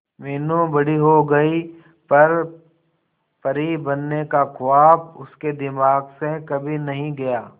मीनू बड़ी हो गई पर परी बनने का ख्वाब उसके दिमाग से कभी नहीं गया